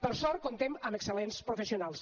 per sort comptem amb excel·lents professionals